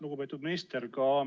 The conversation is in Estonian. Lugupeetud minister!